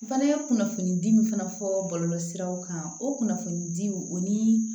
Fana ye kunnafonidi min fana fɔ bɔlɔlɔsiraw kan o kunnafoni di o ni